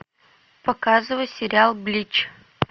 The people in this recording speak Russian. показывай сериал блич